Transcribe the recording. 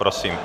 Prosím.